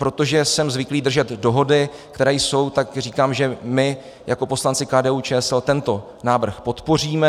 Protože jsem zvyklý držet dohody, které jsou, tak říkám, že my jako poslanci KDU-ČSL tento návrh podpoříme.